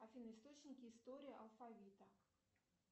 афина источники истории алфавита